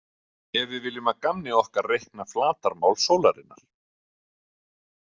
Ef við viljum að gamni okkar reikna flatarmál sólarinnar.